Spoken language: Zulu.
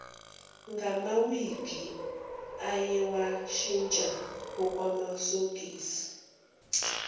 ngamawigi ayewashintsha okwamasokisi